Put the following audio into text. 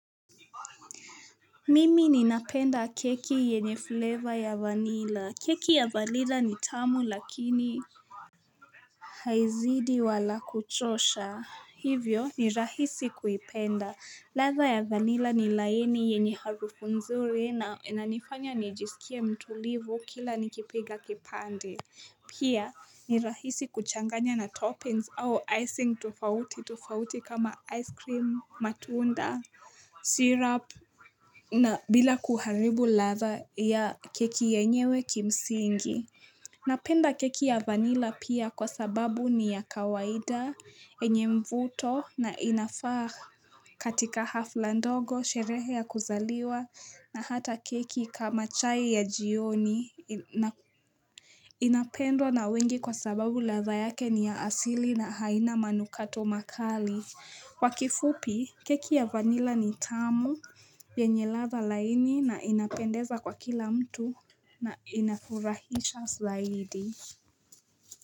Mimi ni na penda keki yenye fleva ya vanila, keki ya vanila ni tamu lakini. Haizidi wala kuchosha, hivyo ni rahisi kuipenda, ladha ya vanila ni laini yenyeharufunzuri inanifanya nijiskie mtulivu kila nikipiga kipande. Pia ni rahisi kuchanganya na toppings au icing tofauti tofauti kama ice cream, matunda, syrup na bila kuharibu ladha ya keki yenyewe kimsingi. Napenda keki ya vanilla pia kwa sababu ni ya kawaida yenye mvuto na inafaa katika hafla ndogo sherehe ya kuzaliwa na hata keki kama chai ya jioni. Inapendwa na wengi kwa sababu ladha yake ni ya asili na haina manukato makali kwakifupi keki ya vanila ni tamu yenye ladha laini na inapendeza kwa kila mtu na inafurahisha zaidi.